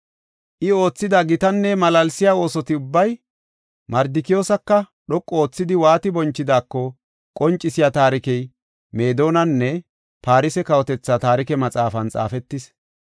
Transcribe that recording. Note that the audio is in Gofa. I oothida gitanne malaalsiya oosoti ubbay, Mardikiyoosaka dhoqu oothidi waati bonchidaako qoncisiya taarikey Meedonanne Farse kawotetha taarike maxaafan xaafetis.